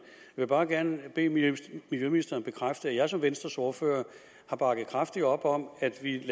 vil bare gerne bede miljøministeren bekræfte at jeg som venstres ordfører har bakket kraftigt op om at vi